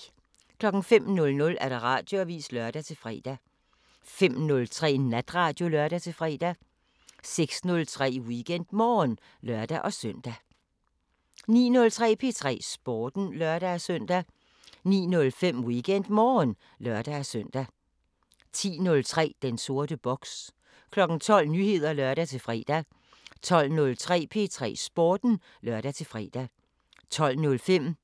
05:00: Radioavisen (lør-fre) 05:03: Natradio (lør-fre) 06:03: WeekendMorgen (lør-søn) 09:03: P3 Sporten (lør-søn) 09:05: WeekendMorgen (lør-søn) 10:03: Den sorte boks 12:00: Nyheder (lør-fre) 12:03: P3 Sporten (lør-fre) 12:05: